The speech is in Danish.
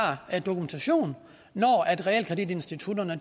dokumentation når realkreditinstitutterne